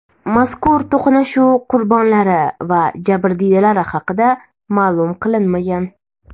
Mazkur to‘qnashuv qurbonlari va jabrdiydalari haqida ma’lum qilinmagan.